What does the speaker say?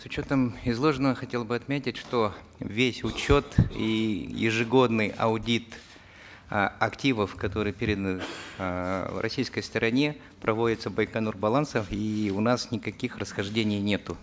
с учетом изложенного хотел бы отметить что весь учет и ежегодный аудит э активов которые переданы эээ российской стороне проводится байконур балансом и у нас никаких расхождений нету